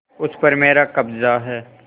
उस पर मेरा कब्जा है